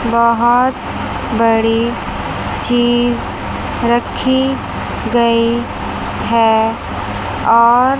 बहोत बड़ी चीज रखी गई है और--